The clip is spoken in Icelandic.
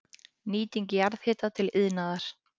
Nýting jarðhita til iðnaðar